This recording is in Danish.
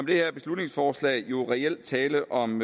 det her beslutningsforslag jo reelt tale om